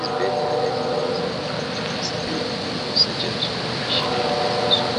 Izibhedlela ezinengi seziqakathekisa ukusetshenziswa kwemitshina yakulezinsuku.